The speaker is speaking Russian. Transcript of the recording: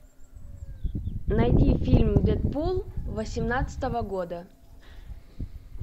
найди фильм дэдпул восемнадцатого года